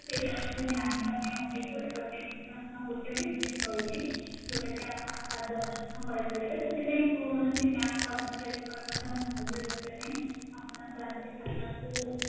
ସେଇଟା ତମେ ଜାଣିବା ପାଇଁ update କରିବା ପାଇଁ ହଁ ଗୋଟେ machine ରହିଛି ଯୋଉଟା କି ଆପଣ ତାଦ୍ଵାରା ମଧ୍ୟ କରିପାରିବେ ତ ସେଥିପାଇଁ କୌଣସି bank କର୍ମଚାରୀଙ୍କର ମଧ୍ୟ ସାହାଯ୍ୟ ଦରକାର ନାହିଁ ଆପଣ ତାଧିଏରେ ଖାତାକୁ